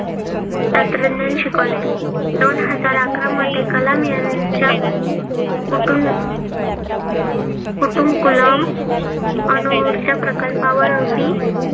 तंत्रज्ञान शिकवले. दोन हजार आकरामध्ये कलाम यांच्या कुटुन कुटुंकुलम अणुउर्जा प्रकल्पावर ही